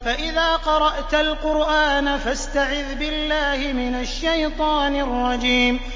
فَإِذَا قَرَأْتَ الْقُرْآنَ فَاسْتَعِذْ بِاللَّهِ مِنَ الشَّيْطَانِ الرَّجِيمِ